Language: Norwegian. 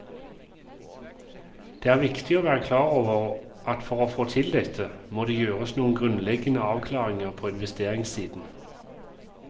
Det er viktig å være klar over at for å få til dette, må det gjøres noen grunnleggende avklaringer på investeringssiden.